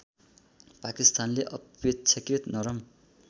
पाकिस्तानले अपेक्षाकृत नरम